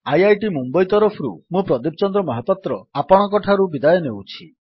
IIT Mumbai ତରଫରୁ ମୁଁ ପ୍ରଦୀପ ଚନ୍ଦ୍ର ମହାପାତ୍ର ଆପଣଙ୍କଠାରୁ ବିଦାୟ ନେଉଛି